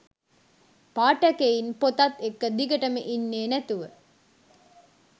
පාඨකයින් පොතත් එක්ක දිගටම ඉන්නේ නැතිව